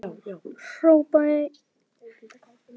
Hrópaði einn: